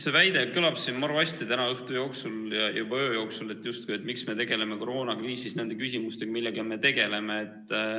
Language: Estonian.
See väide kõlab siin maru hästi tänase õhtu ja juba öö jooksul, et miks me tegeleme koroonakriisis nende küsimustega, millega me tegeleme.